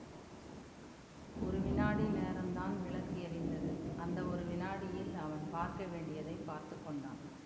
ஒரு விநாடி நேரந்தான் விளக்கு எரிந்தது அந்த ஒரு விநாடியில் அவன் பார்க்க வேண்டியதை பார்த்து கொண்டான்